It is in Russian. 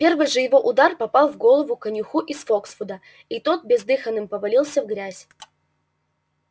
первый же его удар попал в голову конюху из фоксвуда и тот бездыханным повалился в грязь